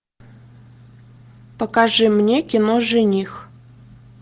покажи мне кино жених